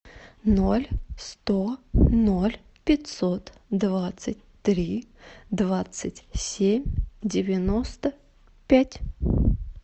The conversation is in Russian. ноль сто ноль пятьсот двадцать три двадцать семь девяносто пять